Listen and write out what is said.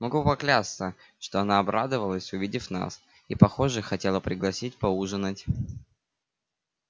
могу поклясться что она обрадовалась увидев нас и похоже хотела пригласить поужинать